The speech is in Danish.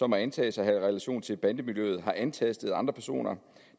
må antages at have relationer til bandemiljøet har antastet andre personer